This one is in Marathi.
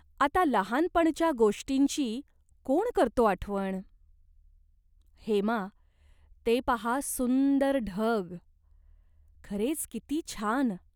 आता लहानपणच्या गोष्टींची कोण करतो आठवण ? हेमा, ते पाहा सुंदर ढग." "खरेच किती छान.